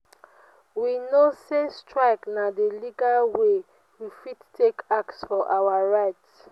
we know sey strike na di legal wey we fit take ask for our right.